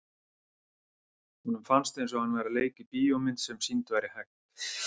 Honum fannst eins og hann væri að leika í bíómynd sem sýnd væri hægt.